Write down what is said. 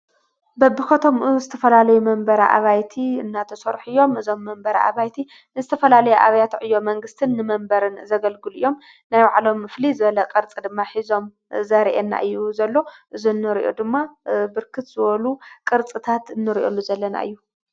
በብኸቶምኡ ንዝተፈላለይ መንበር ኣባይቲ እናተሠርሕ እዮም እዞም መንበረ ኣባይቲ ንስተፈላለይ ኣብያትዕ እዮ መንግሥትን ንመንበርን ዘገልጉል እዮም ናይ ዋዕሎም እፍሊ ዘለ ቐርጽ ድማ ኂዞም ዘርአና እዩ ዘሎ ዝንርእዩ ድማ ብርክት ዝወሉ ቕርጽታት እንርእየሉ ዘለና እዩ::